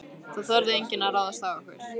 Það þorði enginn að ráðast á okkur.